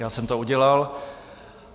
Já jsem to udělal.